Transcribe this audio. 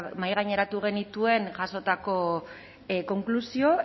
mahaigaineratu genituen jasotako konklusio